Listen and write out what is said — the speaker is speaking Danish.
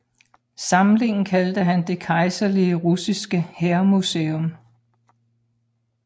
Samlingen kaldte han Det Kejserlige Russiske Hærmuseum